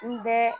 N bɛɛ